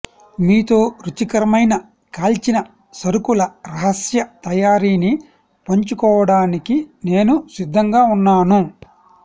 మీతో రుచికరమైన కాల్చిన సరుకుల రహస్య తయారీని పంచుకోవడానికి నేను సిద్ధంగా ఉన్నాను